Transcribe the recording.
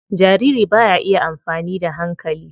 Jariri ba ya iya amfani da hankali.